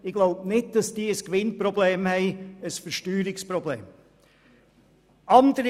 Ich glaube nicht, dass diese Firma ein Gewinn- respektive Versteuerungsproblem hat.